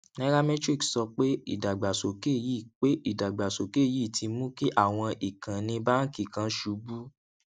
nairametrics sọ pé ìdàgbàsókè yìí pé ìdàgbàsókè yìí ti mú kí àwọn ìkànnì báńkì kan ṣubú